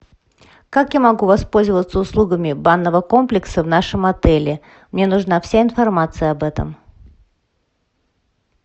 как я могу воспользоваться услугами банного комплекса в нашем отеле мне нужна вся информация об этом